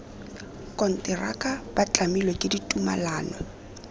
konteraka ba tlamilwe ke ditumalano